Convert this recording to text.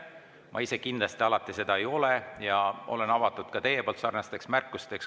Ma ise kindlasti seda alati ei ole ja olen avatud ka teie sarnasteks märkusteks.